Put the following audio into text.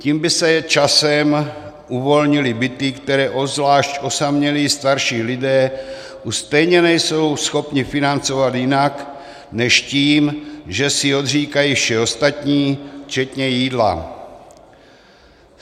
Tím by se časem uvolnily byty, které obzvlášť osamělí starší lidé už stejně nejsou schopni financovat jinak než tím, že si odříkají vše ostatní včetně jídla.